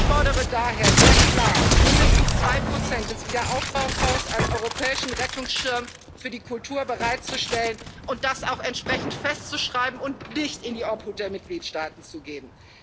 Ich fordere daher sehr klar, mindestens 2 Prozent des Aufbaufonds als europäischen Rettungsschirm für die Kultur bereitzustellen und das auch entsprechend festzuschreiben und nicht in die Obhut der Mitgliedstaaten zu geben.